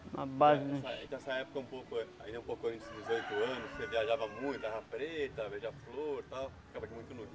Nessa época, um pouco antes, ainda um pouco antes dos oito anos, você viajava muito, Terra Preta, flor e tal, ficava aqui muito no rio.